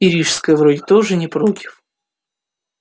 и рижская вроде тоже не против